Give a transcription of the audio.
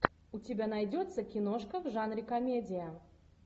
у тебя найдется киношка в жанре комедия